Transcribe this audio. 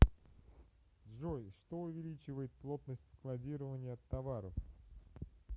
джой что увеличивает плотность складирования товаров